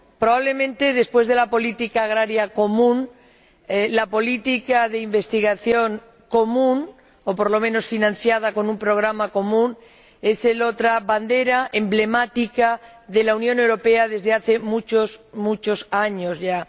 Probablemente después de la política agrícola común, la política de investigación común —o por lo menos financiada con un programa común— es la otra bandera emblemática de la Unión Europea desde hace muchos años ya.